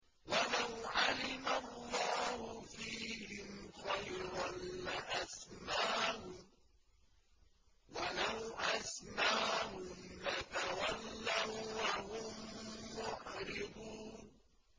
وَلَوْ عَلِمَ اللَّهُ فِيهِمْ خَيْرًا لَّأَسْمَعَهُمْ ۖ وَلَوْ أَسْمَعَهُمْ لَتَوَلَّوا وَّهُم مُّعْرِضُونَ